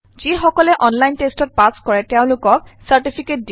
যিকসকলে online টেষ্টত pass কৰে তেওঁলোকক চাৰ্টিফিকেট দিয়ে